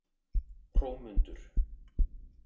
Hrómundur